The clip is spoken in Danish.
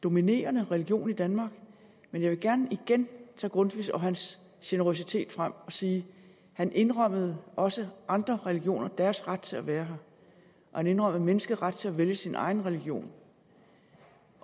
dominerende religion i danmark men jeg vil gerne igen tage grundtvig og hans generøsitet frem og sige at han indrømmede også andre religioner deres ret til at være her og han indrømmede menneskets ret til at vælge sin egen religion